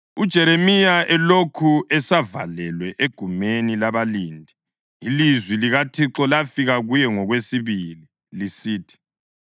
UJeremiya elokhu esavalelwe egumeni labalindi, ilizwi likaThixo lafika kuye ngokwesibili lisithi: